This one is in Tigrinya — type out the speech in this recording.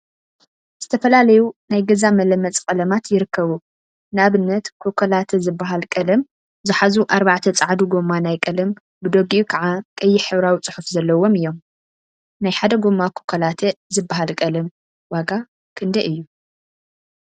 ዝተፈላዩ ናይ ገዛ መለመፂ ቀለማት ይርከቡ፡፡ ንአብነት ኮካላተ ዝበሃል ቀለም ዝሓዙ አርባዕተ ፃዓዱ ጎማ ናይ ቀለም ብደጊኡ ከዓ ቀይሕ ሕብራዊ ፅሑፍ ዘለዎም እዮም፡፡ ናይ ሓደ ጎማ ኮካላተ ዝበሃል ቀለም ዋጋ ክንደይ እዩ?